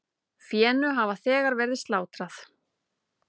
Fénu hefur þegar verið slátrað.